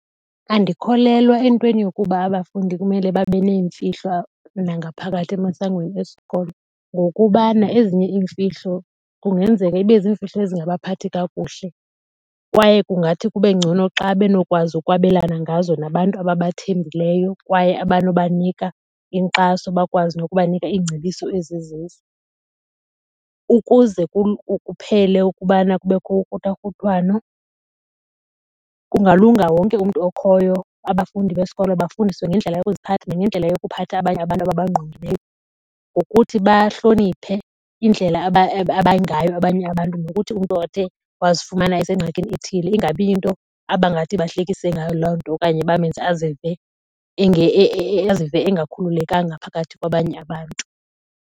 Andikholelwa entweni yokuba abafundi kumele babe neemfihlo nangaphakathi emasangweni esikolo. Ngokubana ezinye iimfihlo kungenzeka ibe zimfihlo ezingabaphathi kakuhle kwaye kungathi kube ngcono xa benokwazi ukwabelana ngazo nabantu ababathembileyo kwaye abanobanika inkxaso bakwazi nokubanika iingcebiso ezizizo. Ukuze kuphele ukubana kubekho ukruthakruthwano kungalunga wonke umntu okhoyo abafundi besikolo bafundiswe ngendlela yokuziphatha nangendlela yokuphatha abanye abantu ababangqongileyo. Ngokuthi bahloniphe indlela abangayo abanye abantu nokuthi umntu othe wazifumana esengxakini ethile ingabi yinto abangathi bahlekise ngayo loo nto okanye bamenze azive engakhululekanga phakathi kwabanye abantu.